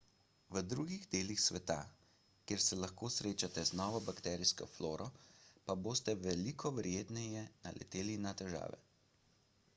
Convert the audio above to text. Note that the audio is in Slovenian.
v drugih delih sveta kjer se lahko srečate z novo bakterijsko floro pa boste veliko verjetneje naleteli na težave